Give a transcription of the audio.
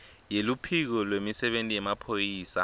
yeluphiko lwemisebenti yemaphoyisa